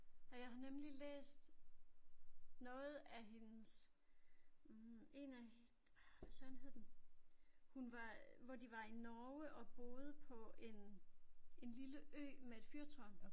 Ja jeg har nemlig læst noget af hendes en af ah hvad Søren hed den hun var hvor de var i Norge og boede på en en lille ø med et fyrtårn